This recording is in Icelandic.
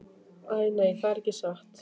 Æ, nei, það er ekki satt.